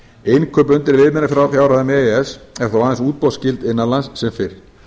innkaup undir viðmiðunarfjárhæðum e e s eru þó aðeins útboðsskyld innan lands sem fyrr